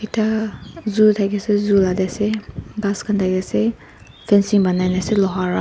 tah zoo thaki seh zoo lah deh ase ghas khan thaki ase fencing banai nah ase loha wra.